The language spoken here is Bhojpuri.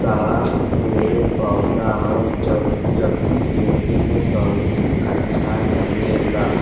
सारा पेड़ पौधा ह। जब जबकि देखे में बहुत ही अच्छा लगेला।